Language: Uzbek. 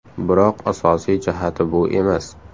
Biroq asosiy jihati bu emas.